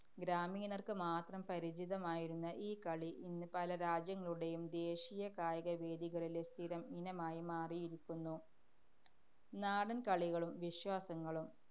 ഗ്രാമീണര്‍ക്ക് മാത്രം പരിചിതമായിരുന്ന ഈ കളി ഇന്ന് പല രാജ്യങ്ങളുടെയും ദേശീയ കായിക വേദികളിലെ സ്ഥിരം ഇനമായി മാറിയിരിക്കുന്നു നാടന്‍കളികളും വിശ്വാസങ്ങളും.